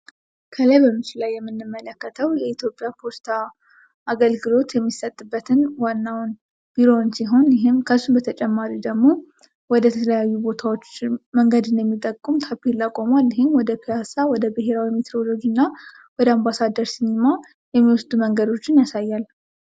ከላይ በምስሉ ላይ የምንመለከተው የኢትዮጵያ ፖስታ አገልግሎት የሚሰጥበትን ዋናውን ቢሮ ሲሆን ይህም ከሱ በተጨማሪ ደግሞ ወደ ተለያዩ ቦታዎች መንገድን የሚጠቁም ታፔላ ቁሟል ። ወደ ፒያሳ ፣ወደ ብሔራዊ ሜትሮሎጂ እና ወደ አምባሳደር ሲኒማ የሚወስድ መንገዶችን ያሳያል ።